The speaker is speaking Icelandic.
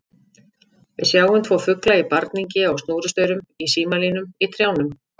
Við sjáum tvo fugla í barningi á snúrustaurum, í símalínum, í trjánum.